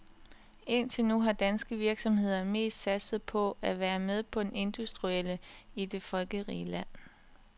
Indtil nu har danske virksomheder mest satset på at være med på den industrielle højkonjunktur i det folkerige land.